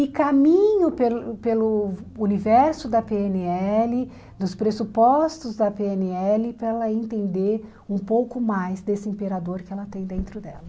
E caminho pelo pelo universo da pê ene ele, dos pressupostos da pê ene ele, para ela entender um pouco mais desse imperador que ela tem dentro dela.